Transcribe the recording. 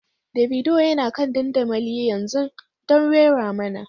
Davido yana kan dandamali yanzu don rera mana.